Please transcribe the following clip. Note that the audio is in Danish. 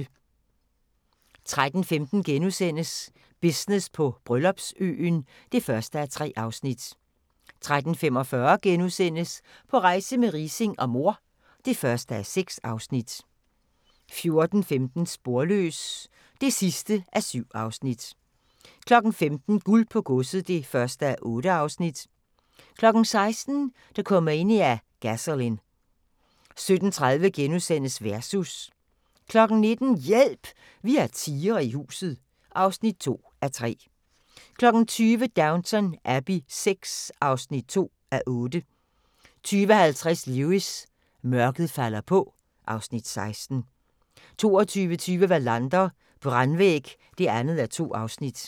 13:15: Business på Bryllupsøen (1:3)* 13:45: På rejse med Riising og mor (1:6)* 14:15: Sporløs (7:7) 15:00: Guld på godset (1:8) 16:00: Dokumania: Gasolin' 17:30: Versus * 19:00: Hjælp! Vi har tigre i huset (2:3) 20:00: Downton Abbey VI (2:8) 20:50: Lewis: Mørket falder på (Afs. 16) 22:20: Wallander: Brandvæg (2:2)